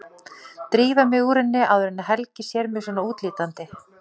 Dríf mig úr henni áður en Helgi sér mig svona útlítandi.